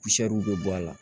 bɛ bɔ a la